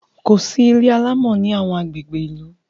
kòsí ilé alamò ní awọn agbègbè ilu